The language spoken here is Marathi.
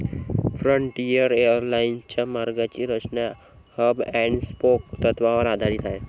फ्रंटियर एरलाईन्सच्या मार्गांची रचना हब अँड स्पोक तत्वावर आधारित आहे.